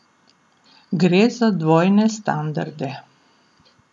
Gre za dvojne standarde.